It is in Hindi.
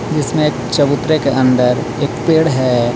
इसमें एक चबूतरे के अंदर एक पेड़ हे.